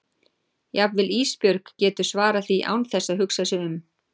Jafnvel Ísbjörg getur svarað því án þess að hugsa sig um.